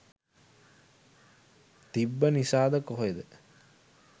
තිබ්බ නිසාද කොහෙද